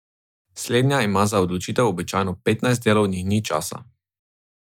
Slednja ima za odločitev običajno petnajst delovnih dni časa.